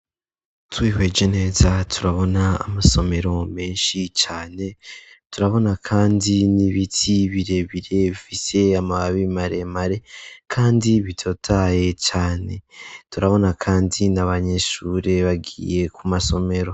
Twihweje neza turabona amasomero menshi cane turabona, kandi n'ibiti birebire bifise amababi maremare, kandi bitotaye cane turabona, kandi ni abanyishure bagiye ku masomero.